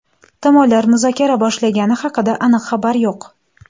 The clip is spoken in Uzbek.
Tomonlar muzokara boshlagani haqida aniq xabar yo‘q.